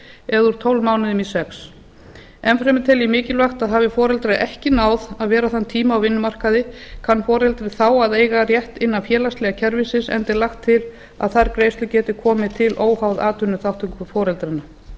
eða úr tólf mánuðum í sex enn fremur tel ég mikilvægt að hafi foreldrar ekki náð að vera þann tíma á vinnumarkaði kann foreldrið þá að eiga rétt innan félagslega kerfisins enda er lagt til að þær greiðslur geti komið til óháð atvinnuþátttöku foreldranna